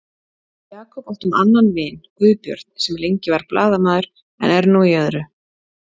Við Jakob áttum annan vin, Guðbjörn, sem lengi var blaðamaður en er nú í öðru.